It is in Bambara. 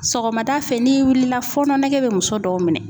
Sɔgɔmada fɛ n'i wulila fɔɔnɔ nege bɛ muso dɔw minɛ.